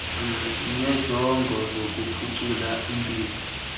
ngeenjongo zokuphucula impilo